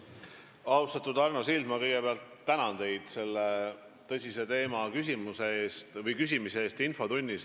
Austatud Arno Sild, ma kõigepealt tänan teid selle tõsise teema kohta küsimise eest infotunnis.